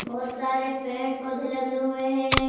बहोत सारे पेड़ पौधे लगे हुए हैं।